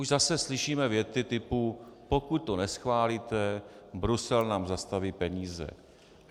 Už zase slyšíme věty typu - pokud to neschválíte, Brusel nám zastaví peníze.